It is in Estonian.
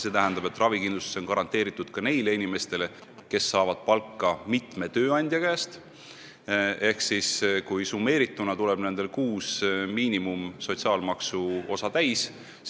See tähendab, et ravikindlustus on garanteeritud ka neile inimestele, kes saavad palka mitme tööandja käest ja kellel summeerituna tuleb kuus sotsiaalmaksu miinimumosa täis.